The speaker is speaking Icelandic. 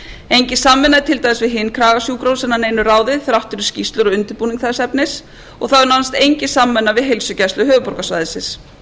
engin samvinna er til dæmis við hin kragasjúkrahúsin að neinu ráði þrátt fyrir skýrslur og undirbúning þess efnis og það er nánast engin samvinnu við h heilsugæsla höfuðborgarsvæðisins